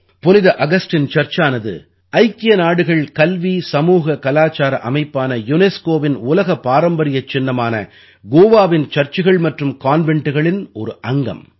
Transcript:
புனித அகஸ்டின் சர்ச்சானது ஐக்கிய நாடுகள் கல்வி சமூக கலாச்சார அமைப்பான யுனெஸ்கோவின் உலக பாரம்பரியச் சின்னமான கோவாவின் சர்ச்சுகள் மற்றும் கான்வெண்டுகளின் ஒரு அங்கம்